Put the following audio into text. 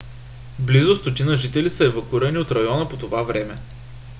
близо 100 жители са евакуирани от района по това време